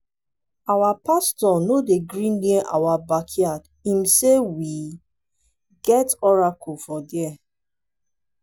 our pastor no dey gree near our backyard im say we get oracle for dia